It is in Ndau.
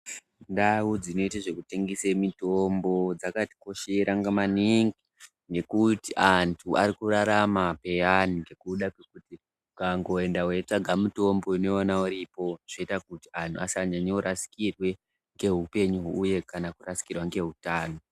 Ndau dzinoite zvekutengese mitombo dzakatikoshera ngamaningi ngekuti antu ari kurarama peyani ngekuda kwekuti ukangoenda weida mutombo unoiwana iripo zvoita kuti asanyanya kurasikirwa ngeupenyu uye kana kurasikirwa ngeutano.